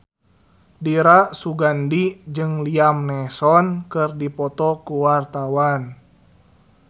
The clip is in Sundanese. Dira Sugandi jeung Liam Neeson keur dipoto ku wartawan